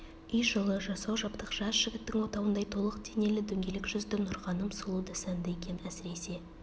үй жылы жасау-жабдық жас жігіттің отауындай толық денелі дөңгелек жүзді нұрғаным сұлу да сәнді екен әсіресе